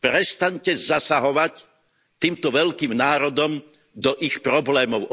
Prestaňte zasahovať týmto veľkým národom do ich problémov.